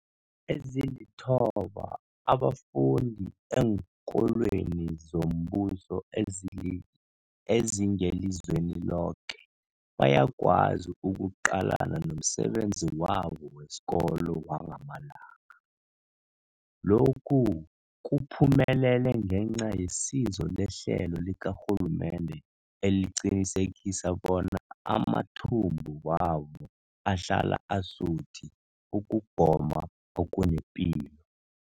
Ezilithoba abafunda eenkolweni zombuso ezingelizweni loke bayakwazi ukuqalana nomsebenzi wabo wesikolo wangamalanga. Lokhu kuphumelele ngenca yesizo lehlelo likarhulumende eliqinisekisa bona amathumbu wabo ahlala asuthi ukugoma okunepilo.